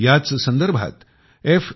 याच संदर्भात f